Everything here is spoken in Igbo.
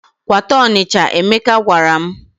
"Kwata Ọnịcha," Emeka gwara m.